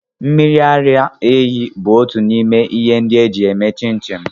Mmiri ara ehi bụ otu n'ime ihe ndi eji eme chinchin.